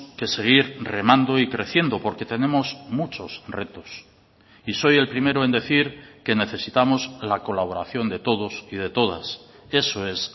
que seguir remando y creciendo porque tenemos muchos retos y soy el primero en decir que necesitamos la colaboración de todos y de todas eso es